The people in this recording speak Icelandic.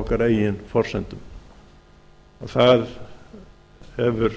okkar eigin forsendum það hefur